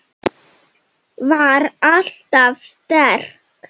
Var alltaf sterk.